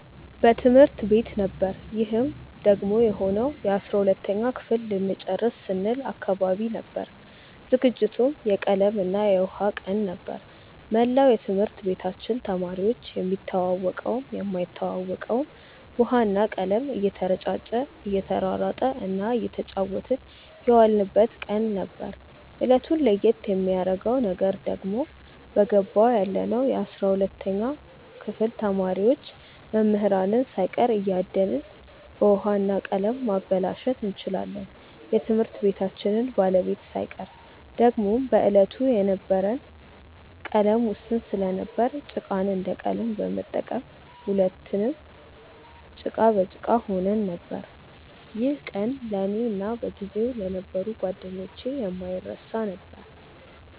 በትምህርት ቤት ነበር ይህም ደግሞ የሆነው የ12ተኛ ክፍል ልንጨርስ ስንል አካባቢ ነበር። ዝግጅቱም የቀለም እና የውሃ ቀን ነበር። መላው የትምህርት ቤታችን ተማሪዎች የሚተዋወቀውም የማይተዋወቀውም ውሃ እና ቀለም እየተረጫጨ እየተሯሯጠ እና እየተጫወትን የዋልንበት ቀን ነበር። እለቱን ለየት የሚያረገው ነገር ደግሞ በገባው ያለነው የ12ተኛ ክፍል ተማሪዎች መምህራንን ሳይቀር እያደንን በውሀ እና በቀለም ማበላሸት እንችላለን የትምህርት ቤታችንን ባለቤት ሳይቀር። ደግሞም በዕለቱ የነበረን ቀለም ውስን ስለነበር ጭቃን እንደ ቀለም በመጠቀም ሁለትንም ጭቃ በጭቃ ሆነን ነበር። ይህ ቀን ለእኔ እና በጊዜው ለነበሩ ጓደኞቼ የማይረሳ ነበር።